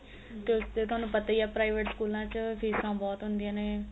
ਤੇ ਉਸ ਤੇ ਤੁਹਾਨੂੰ ਪਤਾ ਈ ਏ private ਸਕੂਲਾਂ ਚ ਫੀਸਾ ਬਹੁਤ ਹੁੰਦਿਆ ਨੇ